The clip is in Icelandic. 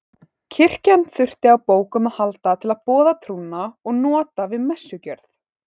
Kirkjan þurfti á bókum að halda til að boða trúna og nota við messugjörð.